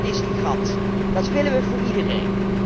Dat is de garantie en dat willen wij voor iedereen.